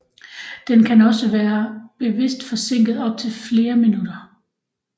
Den kan også være bevidst forsinket op til flere minutter